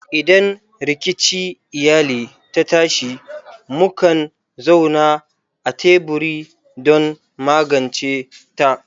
Idan rikici iyali ta tashi, mukan zauna a teburi don magance ta.